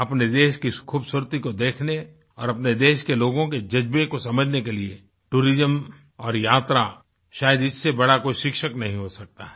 अपने देश की इस खूबसूरती को देखने और अपने देश के लोगों के जज्बे को समझने के लिएtourism और यात्रा शायद इससे बड़ा कोई शिक्षक नहीं हो सकता है